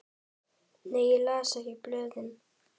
Nei ég les ekki blöðin.